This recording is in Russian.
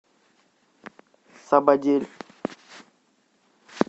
сабадель